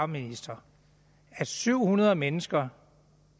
ministeren at syv hundrede mennesker